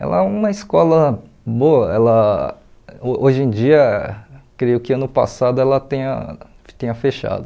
Ela é uma escola boa, ela ho hoje em dia, creio que ano passado ela tenha tenha fechado.